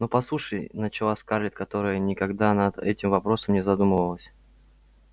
но послушай начала скарлетт которая никогда над этим вопросом не задумывалась